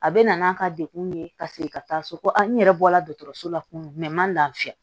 A bɛ na n'a ka dekun ye ka segin ka taa so n yɛrɛ bɔra dɔgɔtɔrɔso la kun man lafiya